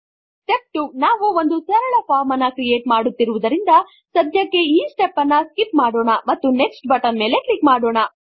step 2 ನಾವು ಒಂದು ಸರಳ ಫಾರ್ಮ್ ನನ್ನು ಕ್ರಿಯೇಟ್ ಮಾಡುತ್ತಿರುವುದರಿಂದ ಸಧ್ಯಕ್ಕೆ ಈ ಸ್ಟೆಪ್ ನನ್ನು ಸ್ಕಿಪ್ ಮಾಡೋಣ ಮತ್ತು ನೆಕ್ಸ್ಟ್ ಬಟನ್ ಮೇಲೆ ಕ್ಲಿಕ್ ಮಾಡಿ